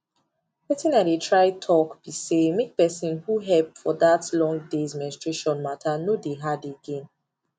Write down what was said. wetin i dey try talk be say make person who help for that long days menstrutation matterno dey hard again